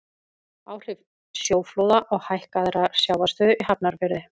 áhrif sjóflóða og hækkaðrar sjávarstöðu í hafnarfirði